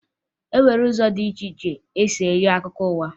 E nwere ụzọ dị iche iche e si enye akụkọ ụwa